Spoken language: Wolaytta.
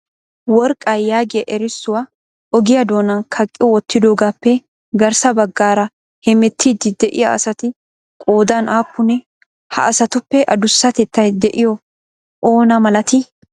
Worqqa! Yaagiya erissuwaa ogiyaa doonan kaqqi wottidoogappe garssa baggaara hemettiidi de'iyaa asati qoodan aappune? Ha asatuppe addusatettay de'iyoy oona malatii?